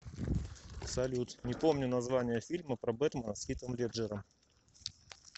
салют не помню название фильма про бэтмэна с хитом леджером